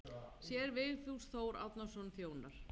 Séra Vigfús Þór Árnason þjónar.